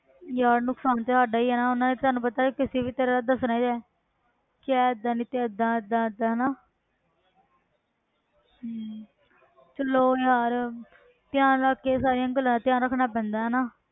ਯਾਰ ਨੁਕਸਾਨ ਤੇ ਸਾਡਾ ਹੀ ਹੈ ਨਾ ਉਹਨਾਂ ਨੇ ਤਾਂ ਤੁਹਾਨੂੰ ਪਤਾ ਕਿਸੇ ਵੀ ਤਰ੍ਹਾਂ ਦੱਸਣਾ ਹੀ ਹੈ ਕਿ ਆਹ ਏਦਾਂ ਨੀ ਤੇ ਏਦਾਂ ਏਦਾਂ ਏਦਾਂ ਹਨਾ ਹਮ ਚਲੋ ਯਾਰ ਧਿਆਨ ਰੱਖ ਕੇ ਸਾਰੀਆਂ ਗੱਲਾਂ ਦਾ ਧਿਆਨ ਰੱਖਣਾ ਪੈਂਦਾ ਹਨਾ।